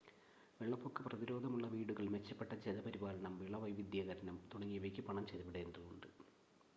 വെള്ളപ്പൊക്ക പ്രതിരോധമുള്ള വീടുകൾ മെച്ചപ്പെട്ട ജല പരിപാലനം വിള വൈവിധ്യവത്കരണം തുടങ്ങിയവയ്ക്ക് പണം ചെലവിടേണ്ടതുണ്ട്